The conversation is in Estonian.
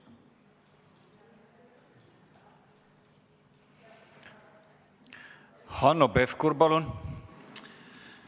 Hanno Pevkur, palun!